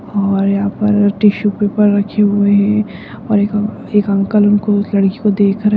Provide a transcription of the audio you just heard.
और यहाँ पर टिशू पेपर रखे हुए हैं और एक अ एक अंकल उनको उस लड़की को देख रहे --